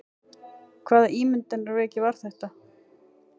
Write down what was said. Hvaða ímyndunarveiki var þetta?